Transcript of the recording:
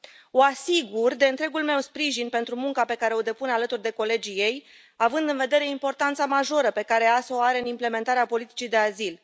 O asigur de întregul meu sprijin pentru munca pe care o depune alături de colegii ei, având în vedere importanța majoră pe care EASO o are în implementarea politicii de azil.